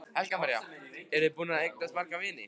Helga María: Eru þið búin að eignast marga vini?